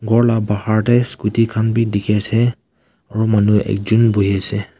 ghor laga bahar tae scooty khan vi dekhi ase aru manu ekjon bhuiase.